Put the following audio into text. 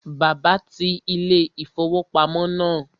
Bàbá ti ilé-ìfowópamọ́ náà